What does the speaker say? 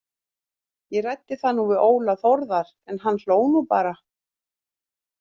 Ég ræddi það nú við Óla Þórðar en hann hló nú bara.